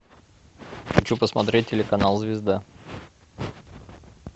хочу посмотреть телеканал звезда